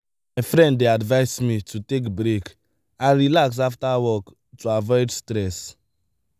my friend dey advise me to take break and relax after work to avoid stress.